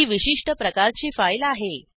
ही विशिष्ट प्रकारची फाईल आहे